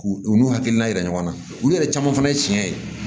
K'u u n'u hakilina yira ɲɔgɔn na olu yɛrɛ caman fana ye tiɲɛ ye